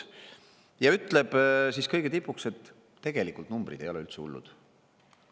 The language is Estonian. Ja minister ütleb siis kõige tipuks, et tegelikult numbrid ei ole üldse hullud.